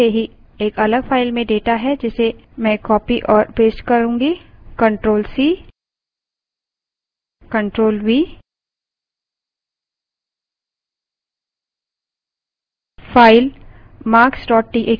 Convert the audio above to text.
समय की बचत के लिए पहले से ही एक अलग file में data है जिसे मैं copy और paste ctrl + c; ctrl + v करती हूँ